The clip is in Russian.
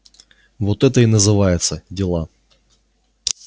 вот это и называется дела